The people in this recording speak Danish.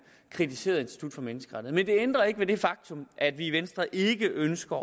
kritiseret institut for menneskerettigheder men det ændrer ikke ved det faktum at vi i venstre ikke ønsker